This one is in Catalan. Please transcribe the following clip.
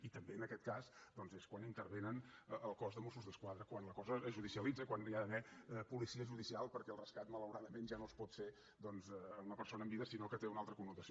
i també en aquest cas doncs és quan intervé el cos de mossos d’esquadra quan la cosa es judicialitza quan hi ha d’haver policia judicial perquè el rescat malauradament ja no es pot fer doncs amb la persona en vida sinó que té una altra connotació